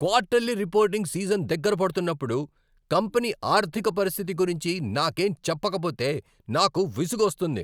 Quarterly reporting season దగ్గర పడుతున్నప్పుడు company ఆర్థిక పరిస్థితి గురించి నాకేం చెప్పకపోతే నాకు విసుగొస్తుంది.